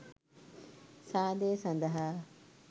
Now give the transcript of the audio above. සාදය සඳහා